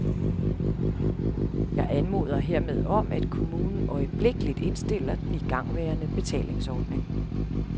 Jeg anmoder hermed om, at kommunen øjeblikkeligt indstiller den igangværende betalingsordning.